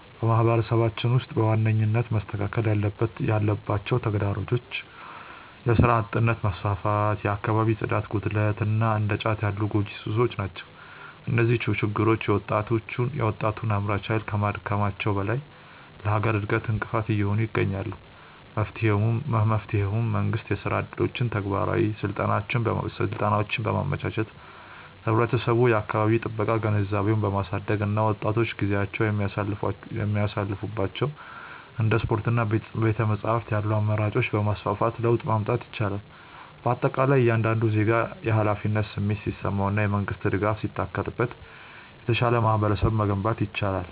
በማህበረሰባችን ውስጥ በዋነኝነት መስተካከል ያለባቸው ተግዳሮቶች የሥራ አጥነት መስፋፋት፣ የአካባቢ ጽዳት ጉድለት እና እንደ ጫት ያሉ ጎጂ ሱሶች ናቸው። እነዚህ ችግሮች የወጣቱን አምራች ኃይል ከማዳከማቸውም በላይ ለሀገር እድገት እንቅፋት እየሆኑ ይገኛሉ። መፍትሄውም መንግስት የሥራ ዕድሎችንና ተግባራዊ ስልጠናዎችን በማመቻቸት፣ ህብረተሰቡ የአካባቢ ጥበቃ ግንዛቤውን በማሳደግ እና ወጣቶች ጊዜያቸውን የሚያሳልፉባቸው እንደ ስፖርትና ቤተ-መጻሕፍት ያሉ አማራጮችን በማስፋፋት ለውጥ ማምጣት ይቻላል። በአጠቃላይ እያንዳንዱ ዜጋ የኃላፊነት ስሜት ሲሰማውና የመንግስት ድጋፍ ሲታከልበት የተሻለ ማህበረሰብ መገንባት ይቻላል።